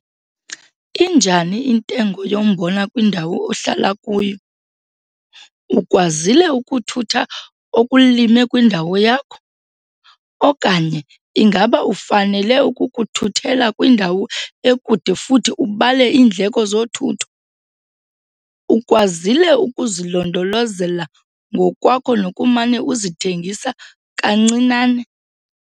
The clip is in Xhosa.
Injani intengo yombona kwindawo ohlala kuyo? Ukwazile ukuthutha okulime kwindawo yakho, okanye ingaba ufanele ukukuthuthela kwindawo ekude futhi ubale iindleko zothutho? Ukwazile ukuzilondolozela ngokwakho nokumane uzithengisa kancinane?